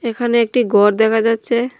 এখানে একটি গর দেখা যাচচে।